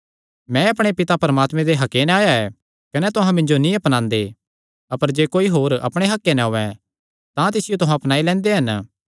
मैं अपणे पिता परमात्मे दे हक्के नैं आया ऐ कने तुहां मिन्जो नीं अपनांदे अपर जे होर कोई अपणे हक्के नैं औयें तां तिसियो तुहां अपनाई लैंदे हन